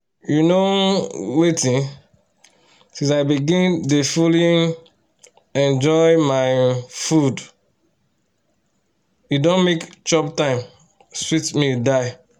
you know um wetin? since i begin dey fully um enjoy my um food e don make chop time sweet me die